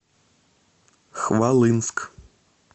хвалынск